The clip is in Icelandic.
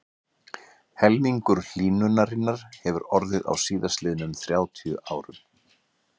Helmingur hlýnunarinnar hefur orðið á síðastliðnum þrjátíu árum.